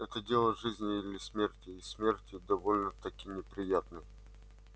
это дело жизни или смерти и смерти довольно-таки неприятной